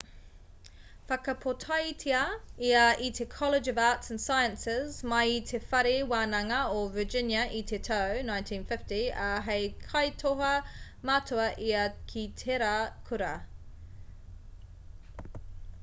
i whakapōtaetia ia i te college of arts & sciences mai i te whare wānanga o virginia i te tau 1950 ā hei kaitoha matua ia ki tērā kura